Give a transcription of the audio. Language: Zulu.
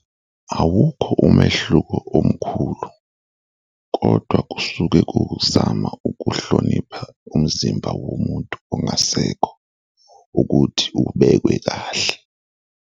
Awukho umehluko omkhulu kodwa kusuke ku ukuzama ukuhlonipha umzimba womuntu ongasekho ukuthi ubekwe kahle.